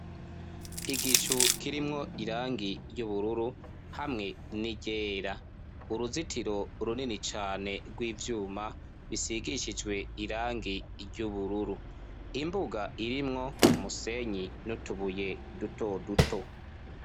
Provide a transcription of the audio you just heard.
Igicu kirimwo irangi ry'ubururu hamwe n'iryera uruzitiro runini cane rw'ivyuma bisigishijwe irangi ry'ubururu, imbuga irimwo umusenyi n'utubuye duto duto.